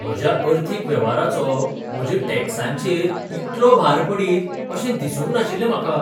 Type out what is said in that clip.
म्हज्या अर्थीक वेव्हाराचो म्हज्या टॅक्सांचेर इतलो भार पडीत अशें दिसूंक नाशिल्लें म्हाका.